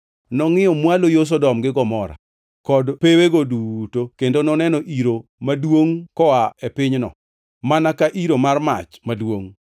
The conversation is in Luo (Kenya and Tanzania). Nongʼiyo mwalo yo Sodom gi Gomora, kod pewege duto kendo noneno iro maduongʼ koa e pinyno, mana ka iro mar mach maduongʼ.